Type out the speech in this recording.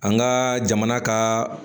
An ka jamana ka